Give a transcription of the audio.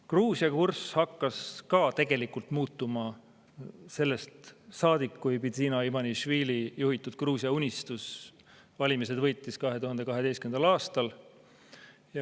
Gruusia kurss hakkas ka tegelikult muutuma sellest saadik, kui Bidzina Ivanišvili juhitud Gruusia Unistus valimised võitis 2012. aastal.